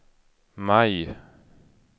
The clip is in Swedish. maj